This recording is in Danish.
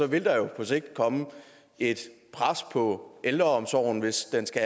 vil der jo på sigt komme et pres på ældreomsorgen hvis den skal